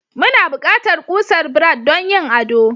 Muna buƙatar kusar Brad don yin ado.